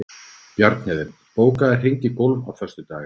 Bjarnhéðinn, bókaðu hring í golf á föstudaginn.